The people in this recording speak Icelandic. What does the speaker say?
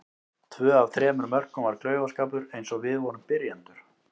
Tvö af þremur mörkum var klaufaskapur eins og við vorum byrjendur.